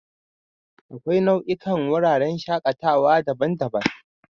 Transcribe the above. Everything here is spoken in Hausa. Akwai nau'ikan wuraren shakatawa daban-daban.